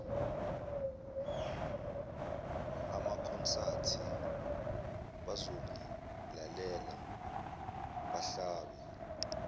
amakhonsathi bazongilalela bahlabe